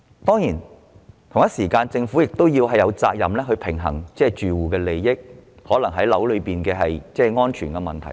當然，政府亦同時有責任平衡住戶的利益及樓宇安全等問題。